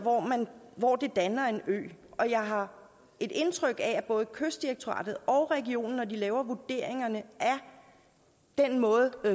hvor det danner en ø og jeg har et indtryk af at både kystdirektoratet og regionen når de laver vurderingerne af den måde